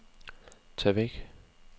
tag væk